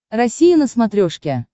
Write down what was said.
россия на смотрешке